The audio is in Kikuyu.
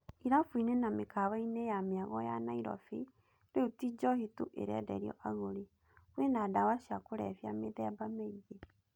Irabũinĩ na mĩkawaĩnĩ ya mĩago ya Nairobi rĩu ti njohi tu ĩrenderio agũri, kwĩna ndawa cia kũrebia mēthēba mĩĩngĩ.